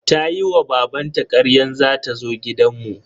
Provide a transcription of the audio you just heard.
Tayi wa babanta karyan za ta zo gidan mu.